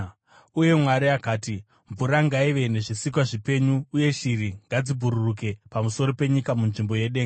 Uye Mwari akati, “Mvura ngaive nezvisikwa zvipenyu, uye shiri ngadzibhururuke pamusoro penyika munzvimbo yedenga.”